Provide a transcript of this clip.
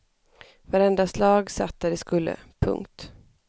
Varenda slag satt där det skulle. punkt